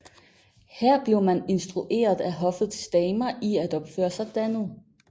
Her blev man instrueret af hoffets damer i at opføre sig dannet